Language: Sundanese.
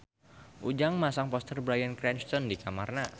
Ujang masang poster Bryan Cranston di kamarna